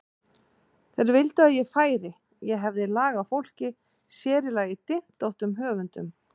Þeir vildu að ég færi, ég hefði lag á fólki, sér í lagi dyntóttum höfundum.